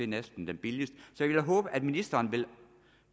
næsten den billigste jeg vil da håbe at ministeren vil